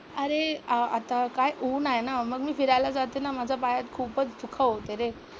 अरेआ आता काय ऊन आहे ना, मग मी फिरायला जाते ना, माझा पायात खूपच दुःख होतंय रे.